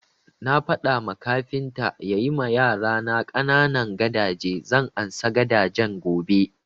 Na faɗa ma kafintan ya yi ma yarana ƙanana gadaje, zan ansa gadajen gobe